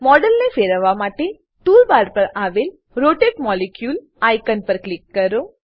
મોડેલને ફેરવવા માટે ટૂલ બાર પર આવેલ રોટેટ મોલિક્યુલ આઇકોન પર ક્લિક કરો